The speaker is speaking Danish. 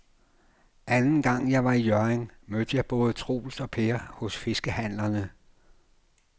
Anden gang jeg var i Hjørring, mødte jeg både Troels og Per hos fiskehandlerne.